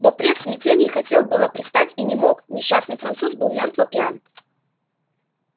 бопре в смятении хотел было привстать и не мог несчастный француз был мёртво пьян